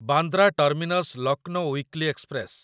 Bandra terminus Lucknow weekly express